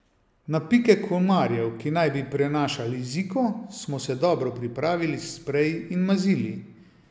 Na pike komarjev, ki naj bi prenašali ziko, smo se dobro pripravili s spreji in mazili.